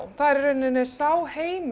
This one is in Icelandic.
það er í rauninni sá heimur í